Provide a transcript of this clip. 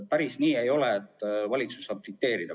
Päris nii ei ole, et valitsus saab dikteerida.